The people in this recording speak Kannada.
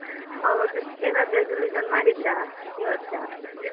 ಹೌದು ಏನಾದ್ರು resolution ಮಾಡಿದ್ರಾ ಈ ವರ್ಷ?